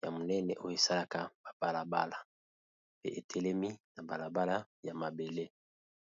ya monene, oyo esalaka babalabala. Pe etelemi na balabala ya mabele.